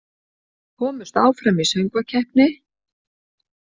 Komust áfram í söngvakeppni